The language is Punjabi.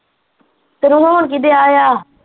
ਤੈਨੂੰ ਹੋਣ ਕਿ ਡੇਆ ਆ?